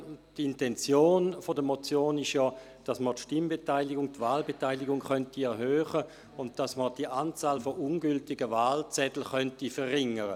Die Intention der Motion ist ja, die Stimm- und Wahlbeteiligung zu erhöhen und die Anzahl an ungültigen Wahlzetteln zu verringern.